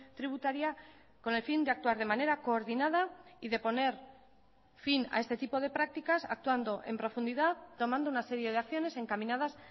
tributaria con el fin de actuar de manera coordinada y de poner fin a este tipo de prácticas actuando en profundidad tomando una serie de acciones encaminadas